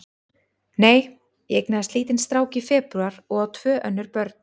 Nei, ég eignaðist lítinn strák í febrúar og á tvö önnur börn.